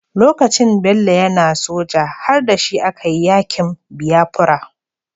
Lokacin da Bello yAna soja har dashi a kayi yakin biyafura